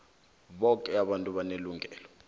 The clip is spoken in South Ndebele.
boke abantu banelungelo